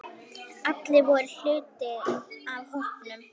Allir voru hluti af hópnum.